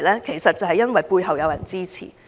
正是因為背後有人支持。